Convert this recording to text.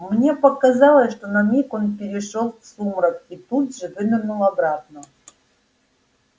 мне показалось что на миг он перешёл в сумрак и тут же вынырнул обратно